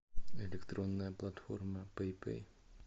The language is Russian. электронная платформа пэй пэй